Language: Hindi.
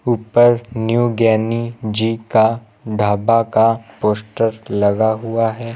उपर न्यू ज्ञानी जी का ढाबा का पोस्टर लगा हुआ है।